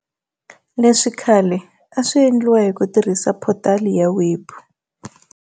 Leswi khale a swi endliwa hi ku tirhisa photali ya webu.